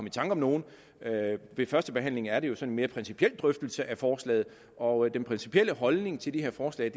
i tanke om nogen ved første behandling er det jo sådan en mere principiel drøftelse af forslag og den principielle holdning til de her forslag